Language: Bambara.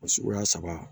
O suguya saba